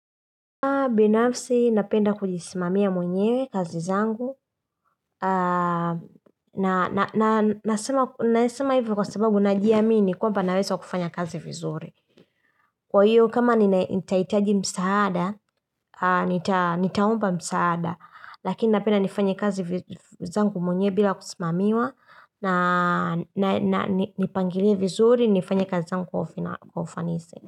Binafsi napenda kujisimamia mwenyewe kazi zangu Nasema hivyo kwa sababu najiamini kwamba naweza kufanya kazi vizuri Kwa hiyo kama nitahitaji msaada, nitaomba msaada Lakini napenda nifanye kazi zangu mwenyewe bila kusimamiwa na nipangilie vizuri, nifanye kazi zangu kwa ufanisi.